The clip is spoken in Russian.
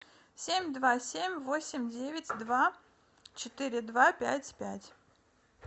семь два семь восемь девять два четыре два пять пять